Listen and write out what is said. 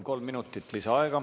Kolm minutit lisaaega.